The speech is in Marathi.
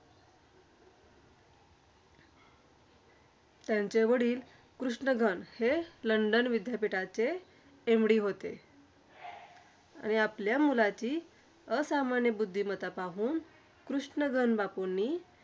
त्यांचे वडील कृष्णगन हे लंडन विद्यापीठाचे MD होते. आणि आपल्या मुलाची असामान्य बुद्धिमत्ता पाहून, कृष्णगन बापूंनी